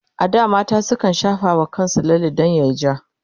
a da mata sukan shafa wa kansu lalle dan yayi ja